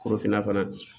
Korofinna fana